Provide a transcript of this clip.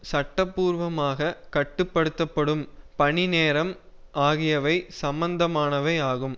சட்ட பூர்வமாக கட்டு படுத்த படும் பணி நேரம் ஆகியவை சம்பந்தமானவை ஆகும்